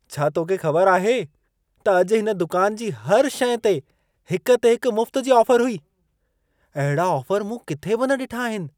छा तोखे ख़बर आहे त अॼु हिन दुकान जी हर शइ ते हिक ते हिकु मुफ्त जी ऑफर हुई? अहिड़ा ऑफर मूं किथे बि न ॾिठा आहिनि।